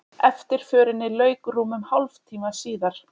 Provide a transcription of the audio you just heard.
Eftirförinni lauk rúmum hálftíma síðar